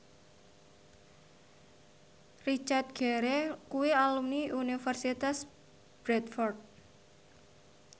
Richard Gere kuwi alumni Universitas Bradford